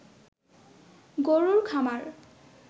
গরুর খামার